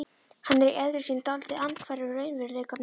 Hann er í eðli sínu dálítið andhverfur raunveruleikanum.